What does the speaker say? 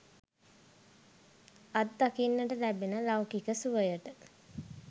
අත් දකින්නට ලැබෙන ලෞකික සුවයට